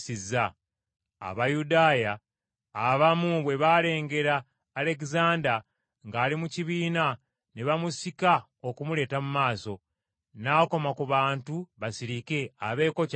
Abayudaaya abamu bwe baalengera Alegezanda ng’ali mu kibiina ne bamusika okumuleeta mu maaso. N’akoma ku bantu basirike abeeko ky’abagamba.